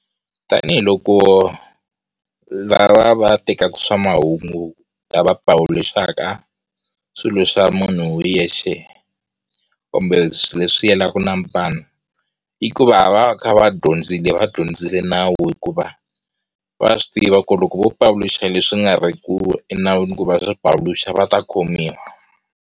Tanihi loko lava va tekaka swa mahungu lava pavuluxaka swilo swa munhu hi yexe kumbe leswi yelanaka na vanhu. I ku va, va va va kha va dyondzile va dyondzile nawu hikuva, va swi tiva ku loko vo pavuluxa leswi nga ri ku emawini ku va va swi pavuluxa va ta khomiwa.